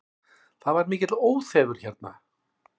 Það er mikill óþefur hérna